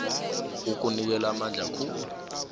okunikela amandla khulu